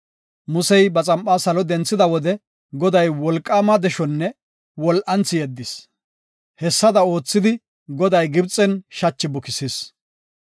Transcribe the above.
Musey ba xam7aa salo denthida wode, Goday wolqaama deshonne wol7anthi yeddis. Hessada oothidi Goday Gibxen shachi bukisis.